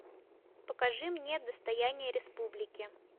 покажи мне достояние республики